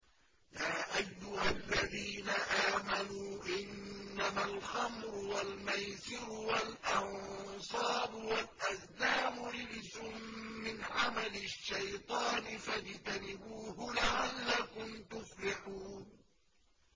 يَا أَيُّهَا الَّذِينَ آمَنُوا إِنَّمَا الْخَمْرُ وَالْمَيْسِرُ وَالْأَنصَابُ وَالْأَزْلَامُ رِجْسٌ مِّنْ عَمَلِ الشَّيْطَانِ فَاجْتَنِبُوهُ لَعَلَّكُمْ تُفْلِحُونَ